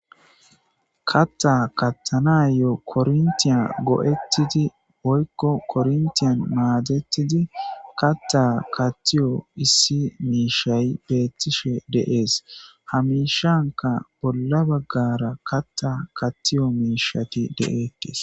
Kaththa kaththanayo korontiya go'etidinne woyikko korentiyan madetidi katha kaththiyo issi mishshay betteshe de'es ha mishshankka bolla bagara kaththa kaththiyo mishshati de'etes